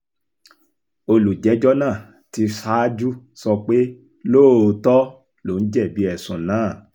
olùjẹ́jọ́ náà ti ṣáájú sọ pé lóòótọ́ lòun jẹ̀bi ẹ̀sùn náà